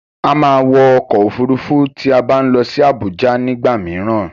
A máa wọ ọkọ̀ òfurufú tí a bá ń lọ sí Abuja nigba mìíràn.